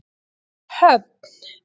Höfn